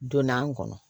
Donna an kɔnɔ